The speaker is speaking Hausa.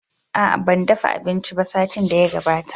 Aa, ban dafa abinci ba satin da ya gabata.